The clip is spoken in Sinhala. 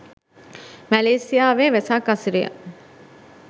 මැලේසියාවේ වෙසක් අසිරිය